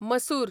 मसूर